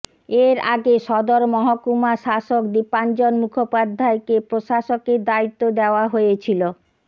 এর আগে সদর মহকুমা শাসক দীপাঞ্জন মুখোপাধ্যায়কে প্রশাসকের দায়িত্ব দেওয়া হয়েছিল